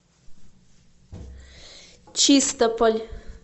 чистополь